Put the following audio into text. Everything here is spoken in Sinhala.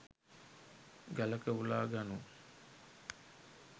ගලක උලා ගනු